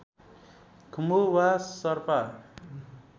खुम्बु वा शरपा